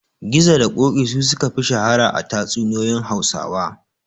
Gizo da Ƙoƙi su suka fi shahara a tatsuniyoyin Hausawa.